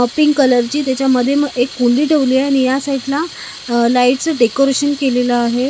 Pink कलरची त्याच्यामध्ये मग एक कुंडी ठेवली आणि या साईडला लाईटच डेकोरेशन केलेलं आहे.